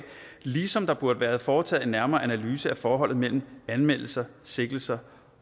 ligesom der burde være foretaget en nærmere analyse af forholdet mellem anmeldelser sigtelser